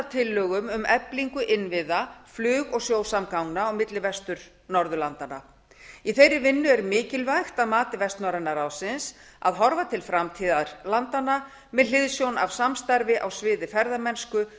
tillögum um eflingu innviða flug og sjósamgangna á milli vestur norðurlanda í þeirri vinnu er mikilvægt að mati vestnorræna ráðsins að horfa til framtíðar landanna með hliðsjón af samstarfi á sviði ferðamennsku